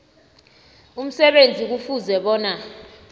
umsebenzi kufuze bona